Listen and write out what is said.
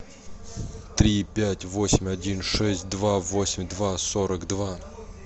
три пять восемь один шесть два восемь два сорок два